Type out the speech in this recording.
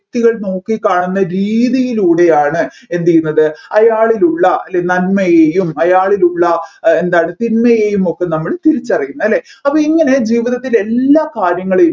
വ്യക്തികൾ നോക്കിക്കാണുന്ന രീതിയിലൂടെയാണ് എന്ത് ചെയ്യുന്നത് അയാളിലുള്ള നന്മയെയും അയാളിലുള്ള എന്താ തിന്മയെയും ഒക്കെ നമ്മൾ തിരിച്ചറിയുന്നത്